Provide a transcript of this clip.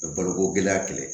Baloko gɛlɛya kɛlɛ